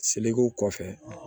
Selekew kɔfɛ